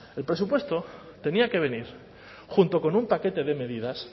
el presupuesto tenía que venir junto con un paquete de medidas